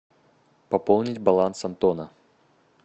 пополнить баланс антона